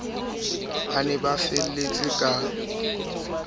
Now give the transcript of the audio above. ba ne ba felletse ka